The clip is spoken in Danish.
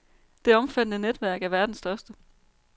Det omfattende netværk er verdens største.